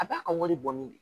A b'a ka wari bɔ ni de